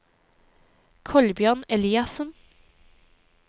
Kolbjørn Eliassen